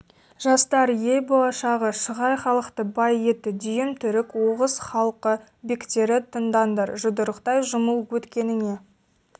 жастар ел болашағы шығай халықты бай етті дүйім түрік оғыз халқы бектері тыңдаңдар жұдырықтай жұмыл өткеніңе